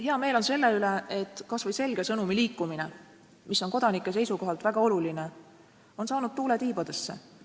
Hea meel on selle üle, et kas või selge sõnumi liikumine, mis on kodanike seisukohalt väga oluline, on saanud tuule tiibadesse.